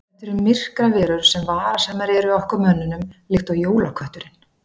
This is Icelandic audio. þetta eru myrkraverur sem varasamar eru okkur mönnunum líkt og jólakötturinn